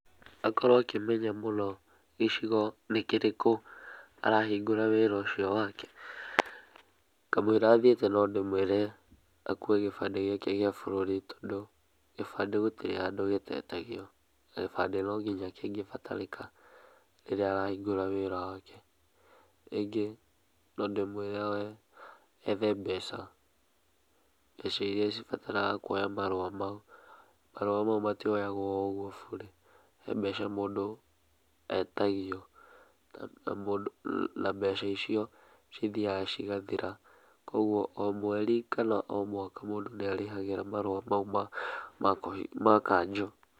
Akorwo akĩmenya mũno gĩcigo nĩ kĩrĩkũ arahingũra wĩra ũcio wake. Kamũira athiĩte no ndĩmwĩre akuwe gĩbandĩ gĩake gĩa bũrũri, tondũ gĩbandĩ gũtirĩ handũ gĩtetagio, na gĩbandĩ no nginya kĩngĩbatarĩka rĩrĩa arahingũra wĩra wake. Ningĩ no ndĩmwĩre ethe mbeca, mbeca irĩa cibataraga kuoya marũa mau. Marũa mau matioyagwo o ogũo burĩ, he mbeca mũndũ etagio na mbeca icio cithiyaga cigathira. Koguo o mweri kana o mwaka mũndũ nĩ arĩhagĩra marũa mau ma kanjo.